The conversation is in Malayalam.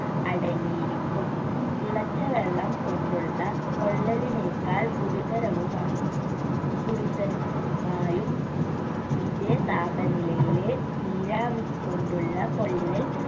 അടങ്ങിയിരിക്കും തിളച്ച വെള്ളം കൊണ്ടുള്ള പൊള്ളലിനേക്കാൾ ഗുരുതരവുമ ഗുരുതര മായും ഇതേ താപനിലയിലെ നീരാവി കൊണ്ടുള്ള പൊള്ളൽ